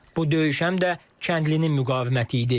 Bu döyüş həm də kəndlinin müqaviməti idi.